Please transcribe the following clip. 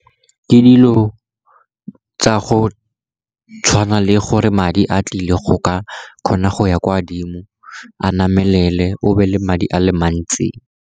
Ke dilo tsa go tshwana le gore madi a tlile go ka kgona go ya kwa dimo, a namelele obe le madi a le mantsi.